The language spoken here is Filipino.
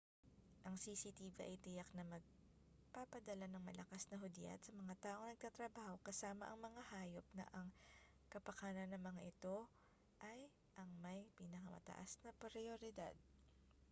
ang cctv ay tiyak na magpapadala ng malakas na hudyat sa mga taong nagtatrabaho kasama ang mga hayop na ang kapakanan ng mga ito ay ang may pinakamataas na prayoridad